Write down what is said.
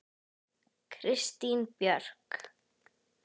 Kristín Björk.